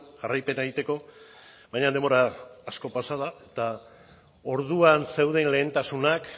jarraipena egiteko baina denbora asko pasa da eta orduan zeuden lehentasunak